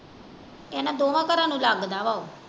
ਇਹਨਾਂ ਦੋਹਾਂ ਘਰਾਂ ਨੂੰ ਲੱਗਦਾ ਆ ਉਹ।